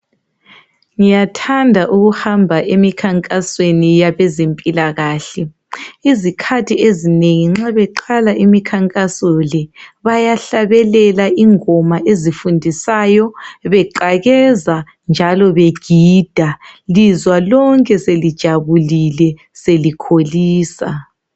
Ngiyathanda ukuhamba emikhankasweni yabezempilakahle. Izikhathi ezinengi nxa beqala imikhankaso le bayahlabelela ingoma ezifundisayo beqakeza njalo begida, lizwa lonke selijabulile selikholisa.